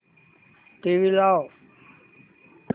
TV लाव